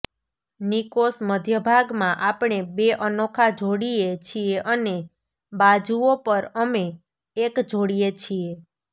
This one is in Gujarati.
નિકોસ મધ્યભાગમાં આપણે બે અનોખા જોડીએ છીએ અને બાજુઓ પર અમે એક જોડીએ છીએ